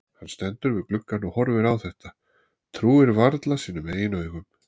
Hann stendur við gluggann og horfir á þetta, trúir varla sínum eigin augum.